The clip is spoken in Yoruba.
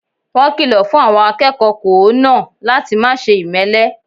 Wọ́n kìlọ̀ fun àwọn akẹ́kọ̀ọ́ kòó náà láti máse ìmẹ́lẹ́